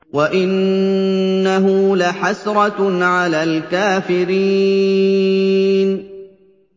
وَإِنَّهُ لَحَسْرَةٌ عَلَى الْكَافِرِينَ